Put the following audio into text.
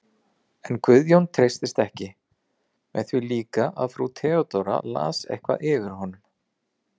En Guðjón treystist ekki, með því líka að frú Theodóra las eitthvað yfir honum.